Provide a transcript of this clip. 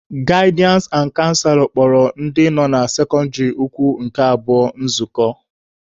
Gaịdịansị na canselọ kpọrọ ndị nọ na sekọndịrị ukwu nke abụọ nzukọ.